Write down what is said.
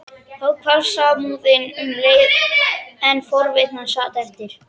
Þá hvarf samúðin um leið en forvitnin sat eftir.